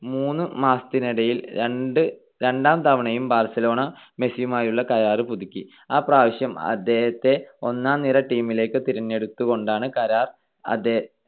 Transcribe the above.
മൂന്നു മാസത്തിനിടയിൽ രണ്ട് ~ രണ്ടാം തവണയും ബാർസലോണ, മെസ്സിയുമായുള്ള കരാർ പുതുക്കി. ആ പ്രാവശ്യം അദ്ദേഹത്തെ ഒന്നാം നിര team ലേക്ക് തിരഞ്ഞെടുത്തുകൊണ്ടാണ് കരാർ